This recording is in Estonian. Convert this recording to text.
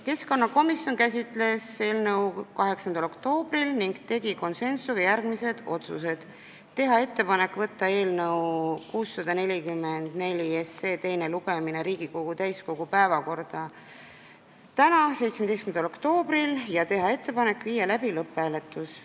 Keskkonnakomisjon käsitles eelnõu 8. oktoobril ning tegi konsensuslikult järgmised otsused: teha ettepanek võtta eelnõu 644 teine lugemine Riigikogu täiskogu päevakorda täna, 17. oktoobril ja teha ettepanek viia läbi lõpphääletus.